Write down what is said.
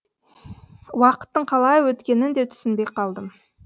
уақыттың қалай өткенін де түсінбей қалдым